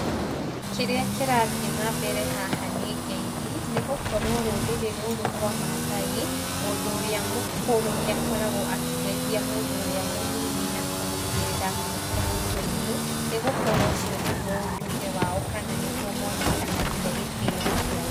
Kĩrĩa kĩrathiĩ na mbere haha nĩ ngeithi, nĩ gũkorwo rũrĩrĩ rũrũ rwa Maathai, mũndũ ũrĩa mũkũrũ nĩ akoragũo akĩgeithia mũndũ ũrĩa mũnini na kũmũigĩrĩra guoko mũtwe-inĩ, nĩgũkorwo ũcio nĩguo ũndũire wao kana nĩguo monekanagia gĩtĩo kĩao.